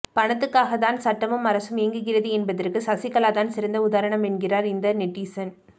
பணத்துக்காக தான் சட்டமும் அரசும் இயங்குகிறது என்பதற்கு சசிகலாதான் சிறந்த உதாரணம் என்கிறார் இந்த நெட்டிசன்